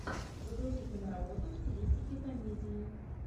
загрузи киноработу в стилистике комедии